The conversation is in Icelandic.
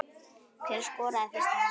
Hver skoraði fyrsta markið?